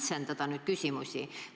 Ma tahan nüüd küsimust kitsendada.